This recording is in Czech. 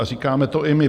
A říkáme to i my.